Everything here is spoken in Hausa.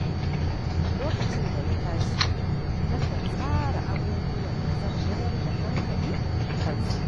Lokacin da na tashi na kan tsara abubuwan da zan mayar da hankali a kansu.